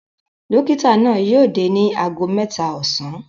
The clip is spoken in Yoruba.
Dọ́kítá náà yóò dé ní ago mẹ́ta ọ̀sán.